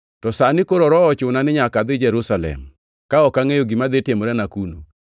“To sani koro Roho ochuna ni nyaka adhi Jerusalem, ka ok angʼeyo gima dhi timorena kuno.